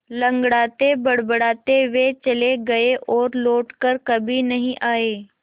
लँगड़ाते बड़बड़ाते वे चले गए और लौट कर कभी नहीं आए